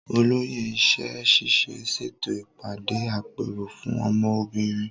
Olóyè iṣẹ́ ṣíṣe ń ṣètò ìpàdé àpérò fún ọmọ obìnrin.